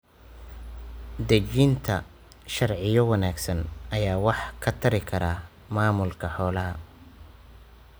Dejinta sharciyo wanaagsan ayaa wax ka tari kara maamulka xoolaha.